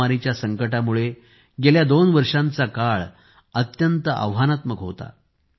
महामारीच्या संकटामुळे गेल्या दोन वर्षांचा काळ अत्यंत आव्हानात्मक होता